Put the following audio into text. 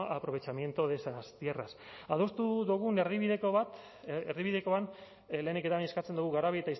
aprovechamiento de esas tierras adostu dugun erdibidekoan lehenik eta behin eskatzen dugu garabi